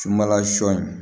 Sunbala sɔ in